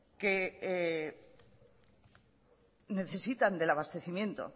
que necesitan del abastecimiento